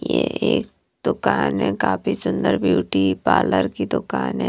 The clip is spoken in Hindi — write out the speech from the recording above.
ये एक दुकान है काफी सुंदर ब्यूटी पार्लर की दुकान है।